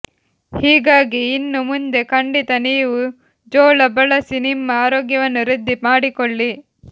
ಹೀಗಾಗಿ ಇನ್ನು ಮುಂದೆ ಖಂಡಿತ ನೀವು ಜೋಳ ಬಳಸಿ ನಿಮ್ಮ ಆರೋಗ್ಯವನ್ನು ವೃದ್ಧಿ ಮಾಡಿಕೊಳ್ಳಿ